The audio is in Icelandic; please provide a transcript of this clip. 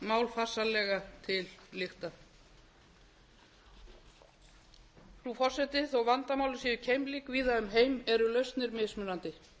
mál farsællega til lykta frú forseti þó vandamálin séu keimlík víða um heim eru lausnir mismunandi